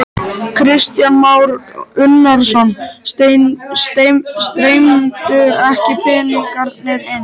Kristján Már Unnarsson: Streymdu ekki peningarnir inn?